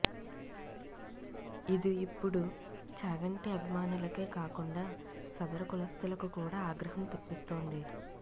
ఇదు ఇప్పుడు చాగంటి అభిమానులకే కాకుండా సదరు కులస్తులకు కూడా ఆగ్రహం తెప్పిస్తోంది